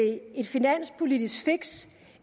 et finanspolitisk fix